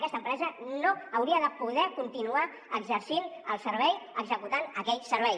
aquesta empresa no hauria de poder continuar exercint el servei executant aquell servei